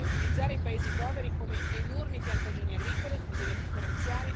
Bisogna differenziare e creare lavoro locale, sviluppando servizi ed industria.